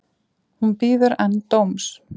Hún bíður enn dóms